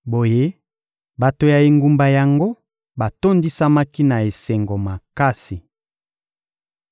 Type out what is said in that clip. Boye, bato ya engumba yango batondisamaki na esengo makasi.